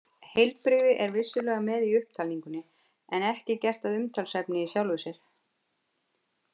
Heilbrigði er vissulega með í upptalningunni en ekki gert að umtalsefni í sjálfu sér.